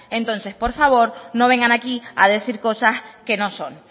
entonces por favor no vengan aquí a decir cosas que no son